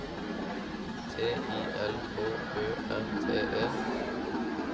T I L H Ø R T E